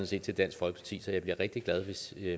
set til dansk folkeparti så jeg bliver rigtig glad hvis